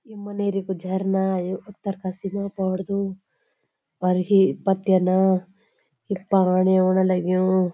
ये मनेरी कु झरना ये उत्तरकाशी मा पड़दू और ये पत्यना यख पाणी ओण लग्युं।